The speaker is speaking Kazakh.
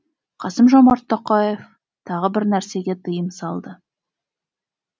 қасым жомарт тоқаев тағы бір нәрсеге тыйым салды